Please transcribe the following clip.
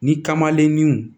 Ni kamaleninw